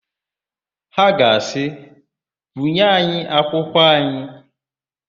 Ha ga asị, "bunye anyị akwụkwọ anyị"!